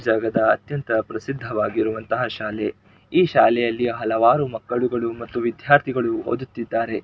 ಜಗದ ಅತ್ಯಂತ ಪ್ರಸಿದ್ಧವಾಗಿರುವಂತ ಶಾಲೆ ಈ ಶಾಲೆಯಲ್ಲಿ ಹಲವಾರು ಮಕ್ಕಳು ಮತ್ತು ವಿದ್ಯಾರ್ಥಿಗಳು ಓದುತ್ತಿದ್ದಾರೆ.